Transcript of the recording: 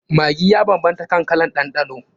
Maggi ya banbanta kan kalan ɗanɗano.